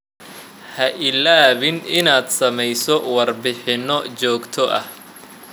Ha iloobin inaad sameyso warbixinno joogto ah.